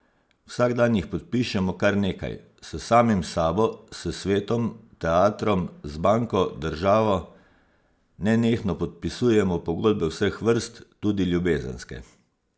Vsak dan jih podpišemo kar nekaj, s samim sabo, s svetom, teatrom, z banko, državo, nenehno podpisujemo pogodbe vseh vrst, tudi ljubezenske.